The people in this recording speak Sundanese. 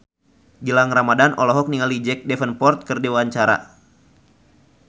Gilang Ramadan olohok ningali Jack Davenport keur diwawancara